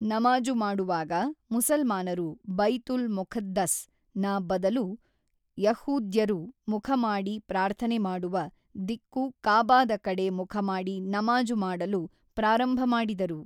ನಮಾಜು ಮಾಡುವಾಗ ಮುಸಲ್ಮಾನರು ಬೈತುಲ್ ಮೊಖದ್ದಸ್ ನ ಬದಲು ಯಹೂದ್ಯರು ಮುಖಮಾಡಿ ಪ್ರಾರ್ಥನೆ ಮಾಡುವ ದಿಕ್ಕು ಕಾಬಾದ ಕಡೆ ಮುಖಮಾಡಿ ನಮಾಜು ಮಾಡಲು ಪ್ರಾರಂಭ ಮಾಡಿದರು.